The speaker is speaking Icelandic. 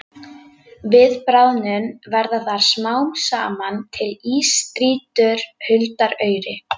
Við bráðnun verða þar smám saman til ísstrýtur huldar auri.